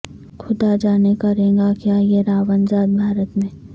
خدا جانے کریگا کیا یہ راون راج بھارت میں